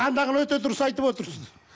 андағыны өте дұрыс айтып отырсыз